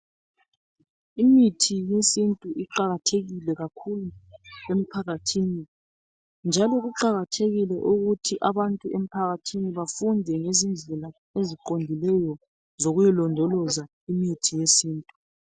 Imithi yesintu iqakathekile kakhulu emphakathini njalo kuqakathekile ukuthi abantu emphakathini bafunde ngezindlela zokuyilondoloza imithi yesintu